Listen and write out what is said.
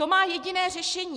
To má jediné řešení.